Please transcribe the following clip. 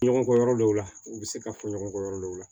Ɲɔgɔn kɔ yɔrɔ dɔw la u bɛ se ka fɔ ɲɔgɔn kɔ yɔrɔ dɔw la